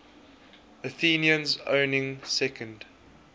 athenians owning second